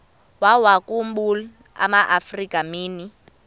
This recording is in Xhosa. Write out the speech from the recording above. wawakhumbul amaafrika mini